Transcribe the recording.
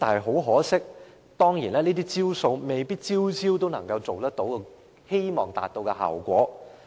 很可惜，這些"招數"未必每招都能夠達到預期效果。